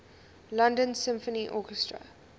london symphony orchestra